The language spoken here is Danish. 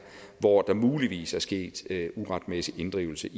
hvor der muligvis er sket uretmæssig inddrivelse